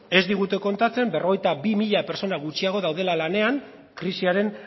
ez digute kontatzen berrogeita bi mila pertsona gutxiago daudela lanean krisiaren